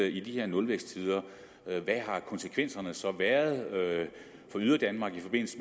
i de her nulvæksttider hvad har konsekvenserne så været for yderdanmark i forbindelse